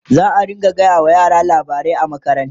zaa rinka gaya wa yara labarai a makaranta